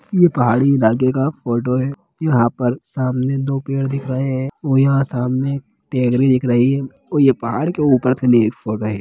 ये पहाड़ी इलाके का फोटो है यहां पर सामने दो पेड़ दिख रहे है और यहाँ सामने टहनी दिख रही है और ये पहाड़ के ऊपर से ली गई फोटो है।